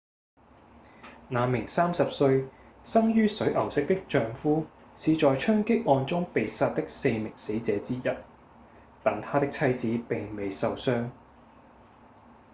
那名30歲、生於水牛城的丈夫是在槍擊案中被殺的四名死者之一但她的妻子並未受傷